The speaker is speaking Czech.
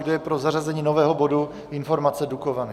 Kdo je pro zařazení nového bodu Informace - Dukovany.